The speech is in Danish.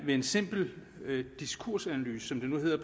ved en simpel diskursanalyse som det hedder